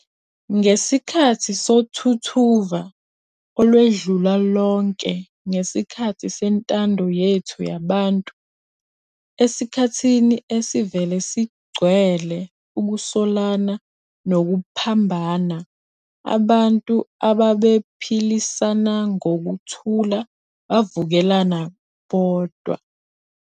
Ngesikhathi sothuthuva olwedlula lonke ngesikhathi sentando yethu yabantu, esikhathini esivele sigcwele ukusolana nokuphambana, abantu abebephilisana ngokuthula bavukelana bodwa.